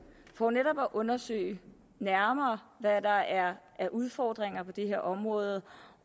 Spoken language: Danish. for netop at undersøge nærmere hvad der er af udfordringer på det her område